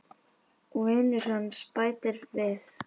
Og vinur hans bætir við